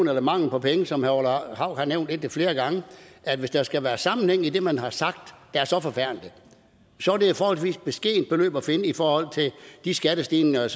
den mangel på penge som herre orla hav har nævnt indtil flere gange hvis der skal være sammenhæng i det man har sagt er så forfærdeligt er det et forholdsvis beskedent beløb der skal findes i forhold til de skattestigninger